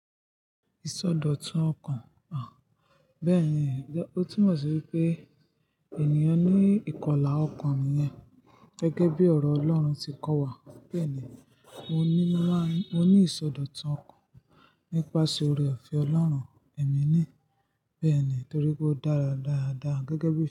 Ìsọdọ̀tun ọkàn? À. Bẹ́ẹ̀ni, ó túmọ̀ sí wi pé ènìyàn ní ìkọlà ọkàn nìyẹn gẹ́gẹ́ bí ọ̀rọ̀ Ọlọ́run ti kọ́ wa beeni, mo ní ìsọdọ̀tun ọkàn nípasẹ̀ oore-ọ̀fẹ́ Ọlọ́run. Èmi ní bẹ́ẹ̀ ni torí pé ó dára dáadáa gẹ́gẹ́ bí.